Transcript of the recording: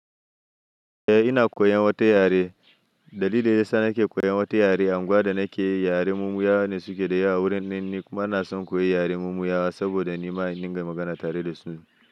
Eh ina koyan wata yare. Dalilin da ya sa nake koyan wata yare, a unguwa da nake yi yare mumuyawa ne suke da yawa wurin nan ni kuma ina son koyi yare mumuyawa saboda ni ma in dinga magana tare da su.